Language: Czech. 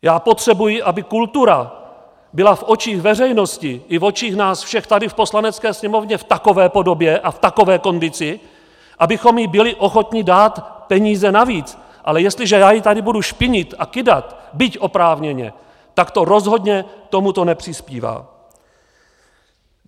Já potřebuji, aby kultura byla v očích veřejnosti i v očích nás všech tady v Poslanecké sněmovně v takové podobě a v takové kondici, abychom jí byli ochotni dát peníze navíc, ale jestliže já ji tady budu špinit a kydat, byť oprávněně, tak to rozhodně k tomuto nepřispívá.